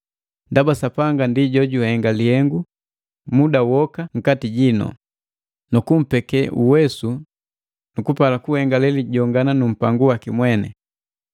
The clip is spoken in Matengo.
ndaba Sapanga ndi jojuhenga lihenga muda woka nkati jinu, nukumpeke uwesu nu kupala kuhenga lelijongana numpangu waki mweni.